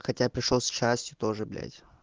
хотя пришёл с частью тоже блять